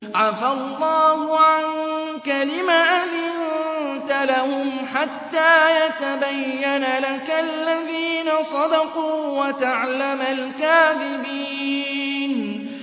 عَفَا اللَّهُ عَنكَ لِمَ أَذِنتَ لَهُمْ حَتَّىٰ يَتَبَيَّنَ لَكَ الَّذِينَ صَدَقُوا وَتَعْلَمَ الْكَاذِبِينَ